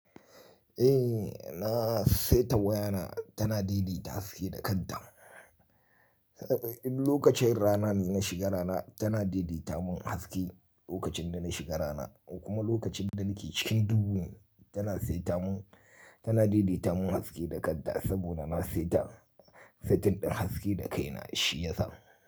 Eh na saita wayana tana daidaita sai da kanta. Lokacin rana na shiga rana tana daidaita mun haske lokacin da na shiga rana kuma lokacin da nake cikin duhu tana saita mun tana daidaita mun haske da kadda saboda na saita saitin ɗin haske da kai na shi yasa.